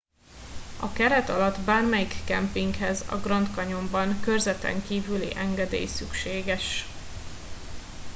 a keret alatti bármelyik kempinghez a grand canyonban körzeten kivüli engedély szükséges